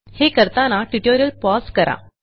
हे करताना tutorial pause करा